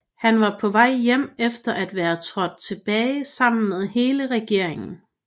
Han var på vej hjem efter at være trådt tilbage sammen med hele regeringen